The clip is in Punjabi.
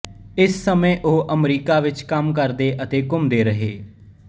ਇਸ ਸਮੇਂ ਉਹ ਅਮਰੀਕਾ ਵਿੱਚ ਕੰਮ ਕਰਦੇ ਅਤੇ ਘੁੰਮਦੇ ਰਹੇ